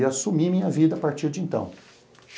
E assumi a minha vida a partir de então.